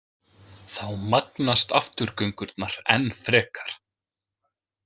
Þá magnast afturgöngurnar enn frekar.